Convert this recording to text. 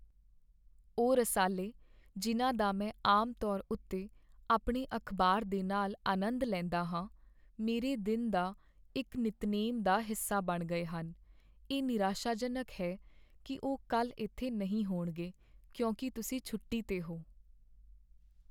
ਉਹ ਰਸਾਲੇ ਜਿਨ੍ਹਾਂ ਦਾ ਮੈਂ ਆਮ ਤੌਰ ਉੱਤੇ ਆਪਣੇ ਅਖ਼ਬਾਰ ਦੇ ਨਾਲ ਆਨੰਦ ਲੈਂਦਾ ਹਾਂ, ਮੇਰੇ ਦਿਨ ਦਾ ਇੱਕ ਨਿੱਤਨੇਮ ਦਾ ਹਿੱਸਾ ਬਣ ਗਏ ਹਨ। ਇਹ ਨਿਰਾਸ਼ਾਜਨਕ ਹੈ ਕੀ ਉਹ ਕੱਲ੍ਹ ਇੱਥੇ ਨਹੀਂ ਹੋਣਗੇ ਕਿਉਂਕਿ ਤੁਸੀਂ ਛੋਟੀ 'ਤੇ ਹੋ।